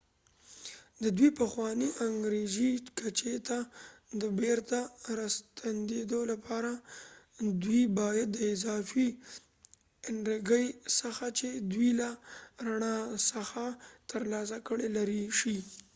د دوی پخوانۍ انرژي کچې ته د بیرته راستنیدو لپاره دوی باید د اضافي انرژي څخه چې دوی له رڼا څخه ترلاسه کړي لرې شي